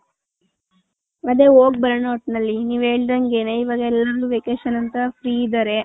ಅದೇ ಹೋಗ್ ಬರೋಣ ಒಟ್ನಲ್ಲಿ ನೀವ್ ಹೇಳ್ದನ್ಗೆನೆ ಇವಗ್ vacation ಅಂತ free ಇದಾರೆ .